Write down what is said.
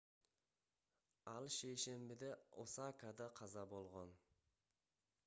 ал шейшембиде осакада каза болгон